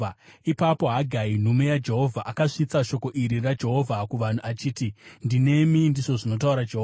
Ipapo Hagai, nhume yaJehovha, akasvitsa shoko iri raJehovha kuvanhu achiti, “Ndinemi,” ndizvo zvinotaura Jehovha.